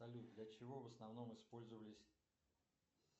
салют для чего в основном использовались